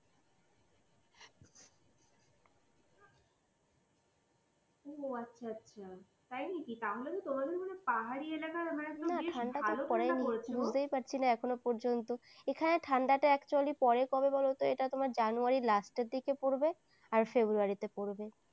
হুম ও আচ্ছা আচ্ছা না ঠান্ডা তো পড়েনি বুঝতেই পারছি না এখনো পর্যন্ত এখানে ঠান্ডাটা actually কবে পরে বলতো এটা তোমার january র last র দিকে পড়বে আর february তে পড়বে।